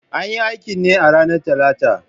An yi aikin ne a ranar Talata